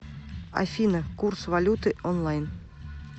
афина курс валюты онлайн